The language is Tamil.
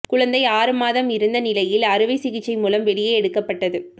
குழந்தை ஆறு மாதம் இருந்த நிலையில் அறுவை சிகிச்சை மூலம் வெளியே எடுக்கப்பட்டது